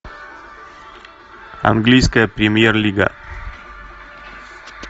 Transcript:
английская премьер лига